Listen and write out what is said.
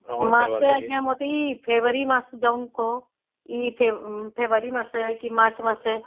ମାସେ ଆଂଜ୍ଞା ମତେ ଏଇ ଫେବୃଆରୀ ମାସେ ଯୋଉ କୁହ ଏ ଫେବୃଆରୀ ମାସେ ମାର୍ଚ୍ଚ ମାସେ